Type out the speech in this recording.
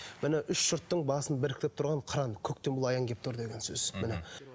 міне үш жұрттың басын біріктіріп тұрған қыран көктен бұл аян келіп тұр деген сөз міне